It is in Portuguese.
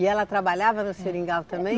E ela trabalhava no seringal também?